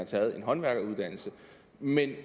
taget en håndværkeruddannelse men